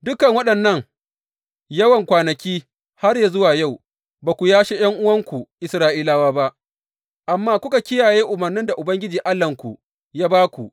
Dukan waɗannan yawan kwanaki, har zuwa yau, ba ku yashe ’yan’uwanku Isra’ilawa ba, amma kuka kiyaye umarnin da Ubangiji Allahnku ya ba ku.